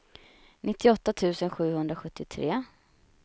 nittioåtta tusen sjuhundrasjuttiotre